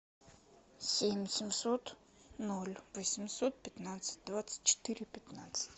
семь семьсот ноль восемьсот пятнадцать двадцать четыре пятнадцать